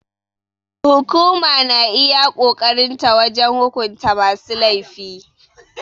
Hukuma na iya ƙoƙarin ta wajen hukunta masu laifi.